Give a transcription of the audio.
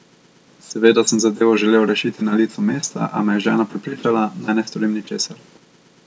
Seveda sem zadevo želel rešiti na licu mesta, a me je žena prepričala, naj ne storim ničesar.